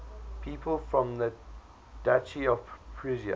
people from the duchy of prussia